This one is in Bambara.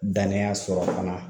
Dananya sɔrɔ fana